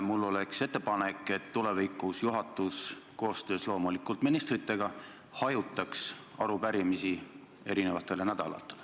Mul on ettepanek, et tulevikus hajutaks juhatus – loomulikult koostöös ministritega – arupärimised erinevatele nädalatele.